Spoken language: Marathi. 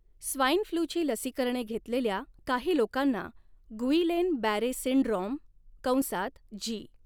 स्वाईन फ्लूची लसीकरणे घेतलेल्या काही लोकांना गुइलेन बॅरे सिंड्रोम कंसात जी.